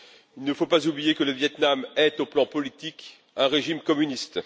Il ne faut pas oublier que le Viêt Nam est, au plan politique, un régime communiste.